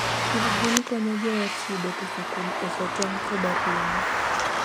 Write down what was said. Pidh gwen konyo joot yudo pesa kuom uso tong' koda ring'o.